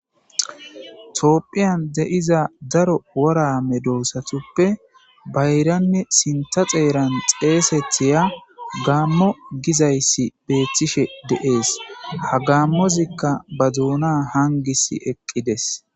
Toopphiyan de'iza daro worame doosatuppe bayranne sinta xeeran xeesethiya gaammo gizayssi beeththishe deees ha gaammozikka ba duuna hangis eqqides.